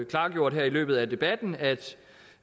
klargjort her i løbet af debatten at